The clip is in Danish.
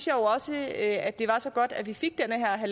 jo også at det var så godt at vi fik den her